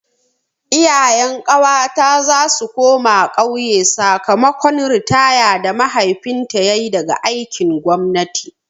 Iyayen ƙawata za su koma ƙauye sakamakon ritaya da mahaifinta yayi daga aikin gwamnati.